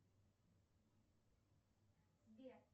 сбер